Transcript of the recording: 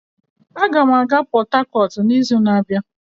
Aga m aga Port Harcourt n'izu na-abịa